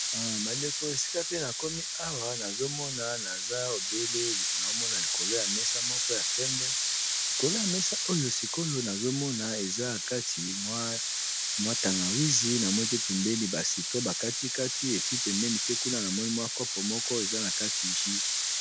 Bandeko esika pe na komi awa nazo mona naza obele naomona likolo ya mesa moko ya pembe, likolo ya mesa oyo sikoyo nazo mona eza na kati mwa tangawisi namoni pe pembeni ba citron ba kati kati epi pembeni pe kuna namoni mwa kopo moko eza na kati jus.